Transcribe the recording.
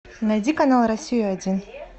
найди канал россия один